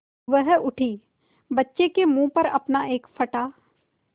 वह उठी बच्चे के मुँह पर अपना एक फटा